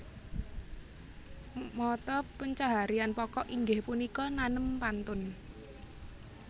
Mata pencaharian pokok inggih punika nanem pantun